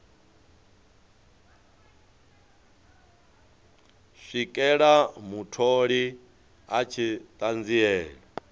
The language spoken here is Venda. swikela mutholi a tshi ṱanziela